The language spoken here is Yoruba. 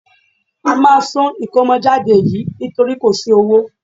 A máa sún ìkómọjáde yìí nítorí kò sí owó